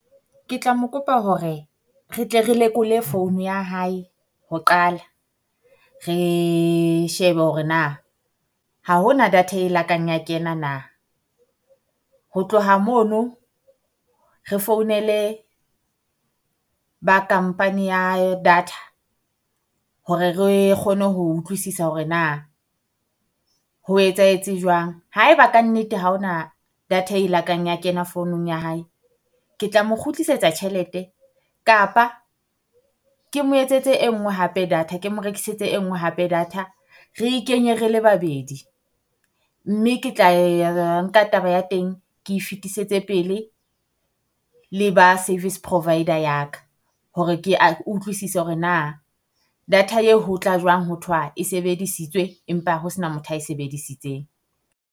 Ke tla mo kopa hore re tle re lekole phone ya hae ho qala, re shebe hore na ha ho na data e lakang ya kena na. Ho tloha mono, re founele ba company ya data hore re kgone ho utlwisisa hore na ho etsahetse jwang. Haeba kannete ha ho na data e lakang ya kena founung ya hae, ke tla mo kgutlisetsa tjhelete kapa ke mo etsetse e ngnwe hape data, ke mo rekisetse e nngwe hape data. Re e kenye re le babedi mme ke tla ya nka taba ya teng, ke e fetisetse pele le ba service provider ya ka. Hore kea utlwisisa hore na data eo ho tla jwang hothwa e sebedisitswe empa ho sena motho ae sebedisitseng.